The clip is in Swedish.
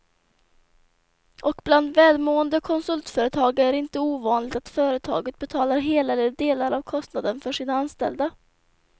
Och bland välmående konsultföretag är det inte ovanligt att företaget betalar hela eller delar av kostnaden för sina anställda.